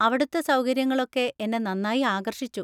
അവിടുത്തെ സൗകര്യങ്ങളൊക്കെ എന്നെ നന്നായി ആകർഷിച്ചു.